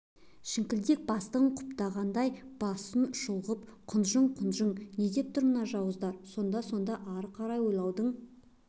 шіңкілдек бастығын құптағандай басын шұлғып құнжың-құнжың не деп тұр мына жауыздар сонда сонда ары қарай ойлаудың